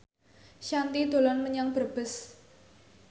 Shanti dolan menyang Brebes